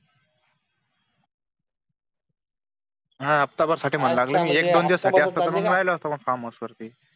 हफ्त्याभर साठी म्हणू लागलं मी एक दोन दिवस सुट्टी असती तर राहिलो असतो फार्महाउस वरती